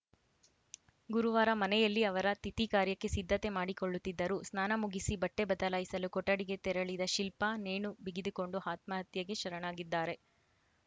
ಗುರುವಾರ ಮನೆಯಲ್ಲಿ ಅವರ ತಿಥಿ ಕಾರ್ಯಕ್ಕೆ ಸಿದ್ಧತೆ ಮಾಡಿಕೊಳ್ಳುತ್ತಿದ್ದರು ಸ್ನಾನ ಮುಗಿಸಿ ಬಟ್ಟೆಬದಲಾಯಿಸಲು ಕೊಠಡಿಗೆ ತೆರಳಿದ ಶಿಲ್ಪಾ ನೇಣು ಬಿಗಿದುಕೊಂಡು ಆತ್ಮಹತ್ಯೆಗೆ ಶರಣಾಗಿದ್ದಾರೆ